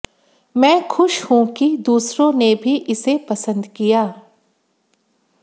मैं खुश हूं कि दूसरों ने भी इसे पसंद किया